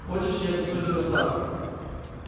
хочешь я отнесу тебя в сад